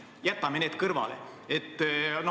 Jätame need kõrvale.